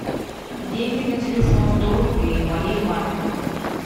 деньги на телефон сто рублей моей маме